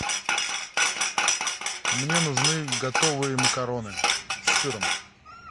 мне нужны готовые макароны с сыром